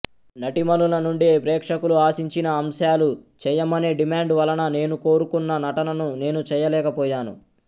నటీమణుల నుండి ప్రేక్షకులు ఆశించిన అంశాలు చేయమనే డిమాండ్ వలన నేను కోరుకున్న నటనను నేను చేయలేకపోయాను